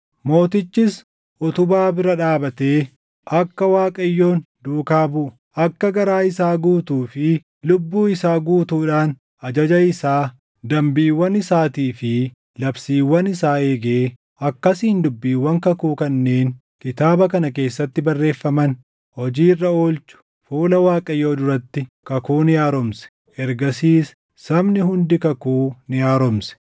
Mootichis utubaa bira dhaabatee akka Waaqayyoon duukaa buʼu, akka garaa isaa guutuu fi lubbuu isaa guutuudhaan ajaja isaa, dambiiwwan isaatii fi labsiiwwan isaa eegee akkasiin dubbiiwwan kakuu kanneen kitaaba kana keessatti barreeffaman hojii irra oolchu fuula Waaqayyoo duratti kakuu ni haaromse; ergasiis sabni hundi kakuu ni haaromse.